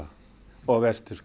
og vestfirsk